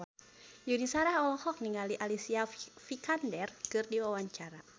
Yuni Shara olohok ningali Alicia Vikander keur diwawancara